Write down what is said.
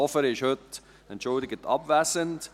Hofer ist heute entschuldigt abwesend.